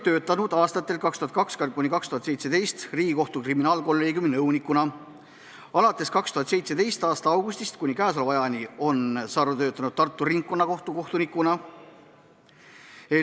Aastatel 2002–2017 töötas ta Riigikohtu kriminaalkolleegiumi nõunikuna, alates 2017. aasta augustist kuni käesoleva ajani on Sarv töötanud Tartu Ringkonnakohtu kohtunikuna.